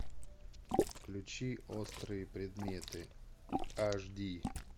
включи острые предметы аш ди